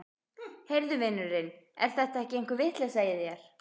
Heyrðu vinurinn, er þetta ekki einhver vitleysa í þér?